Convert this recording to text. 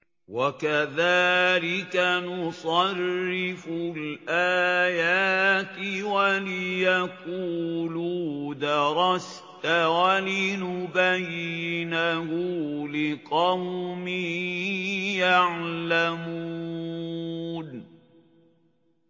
وَكَذَٰلِكَ نُصَرِّفُ الْآيَاتِ وَلِيَقُولُوا دَرَسْتَ وَلِنُبَيِّنَهُ لِقَوْمٍ يَعْلَمُونَ